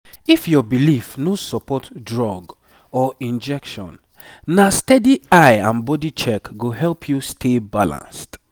if your belief no support drug or injection na steady eye and body check go help you stay balanced.